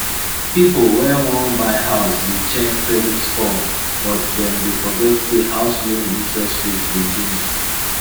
pipo wey wan buy house dey check credit score but dem dey forget say house loan interest rate dey change